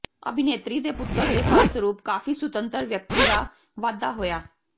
ਅਭਿਨੇਤਰੀ ਦੇ ਪੁੱਤਰ ਦੇ ਫਲਸਰੂਪ ਕਾਫੀ ਸੁਤੰਤਰ ਵਿਅਕਤੀ ਦਾ ਵਾਧਾ ਹੋਇਆ